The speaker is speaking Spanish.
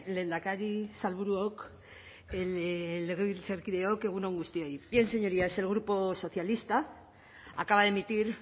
lehendakari sailburuok legebiltzarkideok egun on guztioi bien señorías el grupo socialista acaba de emitir